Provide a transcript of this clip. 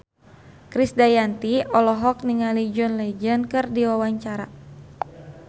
Krisdayanti olohok ningali John Legend keur diwawancara